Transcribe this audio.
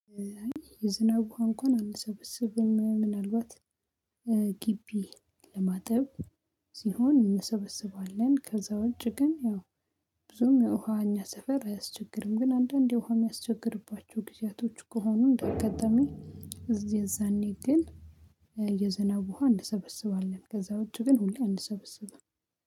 የዝናብ ውሃ እንኳን አንሰበስብም ምናልባት ግቢ ለማጥብ ሲሆን እንሰበስባለን። ከዛ ውጪ ግን ያው ብዙም የውሃ እኛ ሰፈር አያስቸግርም። ግን አንዳንዴ ውሃ የሚያስቸግርባቸው ጊዜያቶች ከሆኑ እንዳጋጣሚ እዚህ የዛኔ ግን የዝናብ ውሃ እንሰበሰባለን። ከዛ ውጪ ግን አንሰበስብም